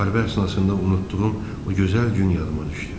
Müharibə əsnasında unutduğum o gözəl gün yadıma düşdü.